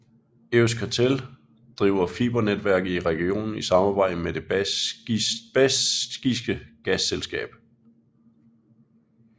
Euskaltel driver fibernetværk i regionen i samarbejde med det baskiske gasselskab